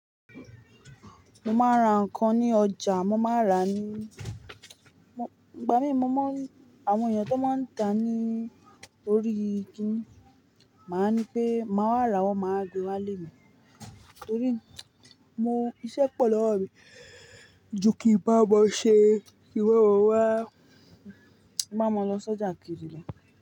Mo máa ń ra nǹkan ní ọjà, mo máa n ra ní ìgbà mí mọ̀ mon, àwọn èèyàn tó máa ń tà á ní orí kinni, màá ni pé màá wá rà, wọ́n máa wa gbe walé. Torí mo iṣẹ́ pọ̀ lọ́wọ́ mi, ju kí n báwon ṣe, ki n báwon wá, ki n máa lọ sojà Kirì.